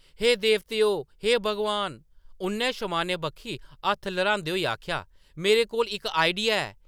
“हे देवतेओ! हे भगवान !” उʼन्नै शमानै बक्खी हत्थ ल्हरांदे होई आखेआ, ”मेरे कोल इक आइडिया ऐ !”